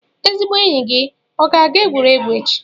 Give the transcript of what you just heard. Ezigbo enyi gị ọ ga-aga egwuregwu echi?